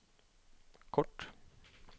kort